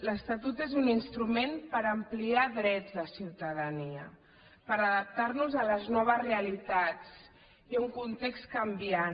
l’estatut és un instrument per ampliar drets de ciutadania per adaptar nos a les noves realitats i a un context canviant